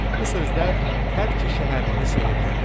Bu sözler hər iki şəhərlini sehrlədi.